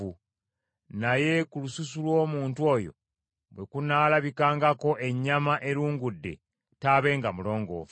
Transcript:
Naye ku lususu lw’omuntu oyo bwe kunaalabikangako ennyama erungudde taabenga mulongoofu.